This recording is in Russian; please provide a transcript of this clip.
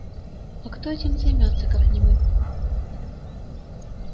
а кто этим займётся как не мы